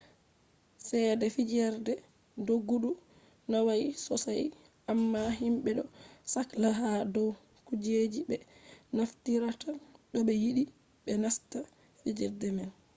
cede fijerde doggudu nawai sosai amma himɓe ɗo sakla ha dow kujeji ɓe naftirta to ɓe yiɗi ɓe nasta fijerde man